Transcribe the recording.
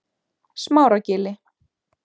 Smáragili